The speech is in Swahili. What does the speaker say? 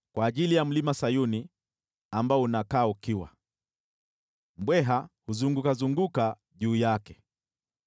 kwa ajili ya Mlima Sayuni, ambao unakaa ukiwa, nao mbweha wanatembea juu yake.